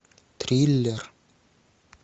триллер